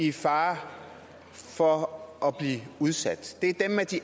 i fare for at blive udsat det